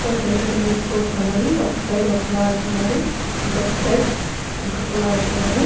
రెండు tennis court ఉన్నవి ఒక్క సైడ్ ఒక్కళ్ళు ఆడుతున్నారు ఇంకొక సైడ్ ఇంకొక్కళ్ళు ఆడుతున్నారు.